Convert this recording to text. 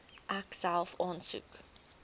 ek self aansoek